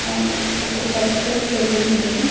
వూ ఒక పెద్ద సెలూన్ ఇది.